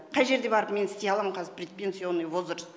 қай жерде барып мен істей алам қазір предпенсионный возраст